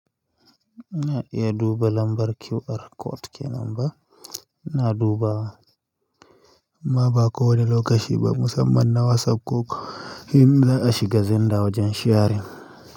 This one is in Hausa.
Na iya duba lambar QR code ke nan ba, na dubawa. Ma ba ko wani lokaci ba musamman na WhatsApp ko inza'a shiga zenda wajen sharing.